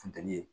Funteni ye